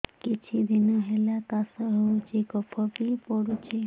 କିଛି ଦିନହେଲା କାଶ ହେଉଛି କଫ ବି ପଡୁଛି